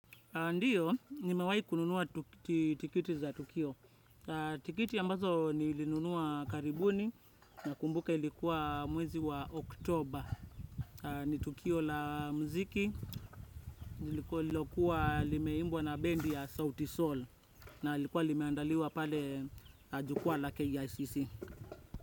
Ndio, nimewai kununua tikiti za tukio. Tikiti ambazo nilinunua karibuni, na kumbuka ilikuwa mwezi wa Oktober. Ni tukio la muziki, lililokuwa limeimbwa na bendi ya Sauti Soul. Na lilikuwa limeandaliwa pale jukuwa la KICC.